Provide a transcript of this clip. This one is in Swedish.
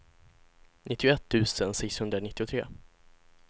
nittioett tusen sexhundranittiotre